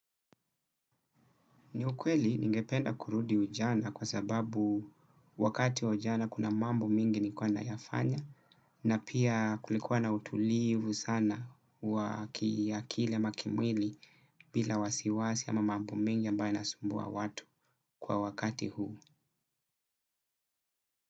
Ni ukweli ningependa kurudi ujana kwa sababu wakati wa ujana kuna mambo mingi nikuwa nayafanya na pia kulikuwa na utulivu sana wa kiakili ama kimwili bila wasiwasi ama mambo mengi ambaye yanasumbua watu kwa wakati huu.